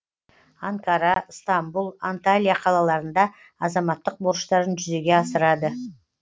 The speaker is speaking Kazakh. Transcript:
анкара ыстамбұл анталия қалаларында азаматтық борыштарын жүзеге асырады